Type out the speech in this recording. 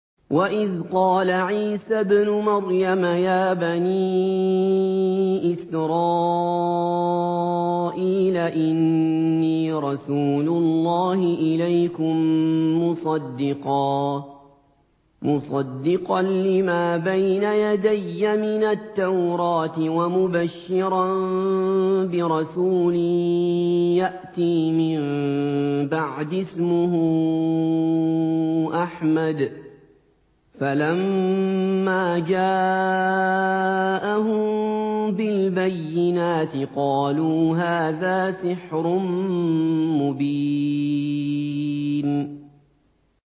وَإِذْ قَالَ عِيسَى ابْنُ مَرْيَمَ يَا بَنِي إِسْرَائِيلَ إِنِّي رَسُولُ اللَّهِ إِلَيْكُم مُّصَدِّقًا لِّمَا بَيْنَ يَدَيَّ مِنَ التَّوْرَاةِ وَمُبَشِّرًا بِرَسُولٍ يَأْتِي مِن بَعْدِي اسْمُهُ أَحْمَدُ ۖ فَلَمَّا جَاءَهُم بِالْبَيِّنَاتِ قَالُوا هَٰذَا سِحْرٌ مُّبِينٌ